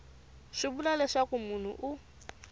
swi vula leswaku munhu u